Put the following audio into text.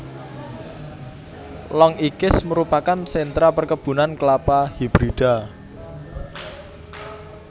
Long Ikis merupakan sentra perkebunan Kelapa Hibrida